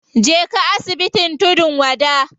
Je ka asibitin tudun wada.